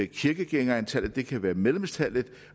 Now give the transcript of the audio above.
kirkegængerantallet det kan være medlemstallet